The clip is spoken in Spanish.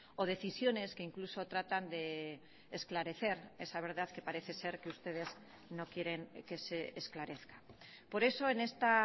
o decisiones que incluso tratan de esclarecer esa verdad que parece ser que ustedes no quieren que se esclarezca por eso en esta